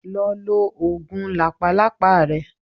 Lọ lo oògùn làpálàpá rẹ.